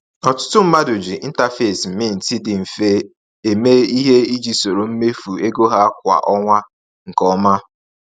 Ọtụtụ mmadụ ji interface Mint dị mfe eme ihe iji soro mmefu ego ha kwa ọnwa nke ọma.